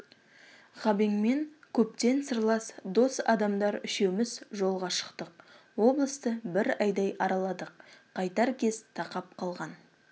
ғабеңмен көптен сырлас дос адамдар үшеуміз жолға шықтық облысты бір айдай араладық қайтар кез тақап қалған